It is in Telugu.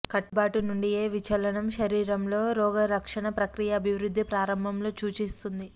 కట్టుబాటు నుండి ఏ విచలనం శరీరంలో రోగలక్షణ ప్రక్రియ అభివృద్ధి ప్రారంభంలో సూచిస్తుంది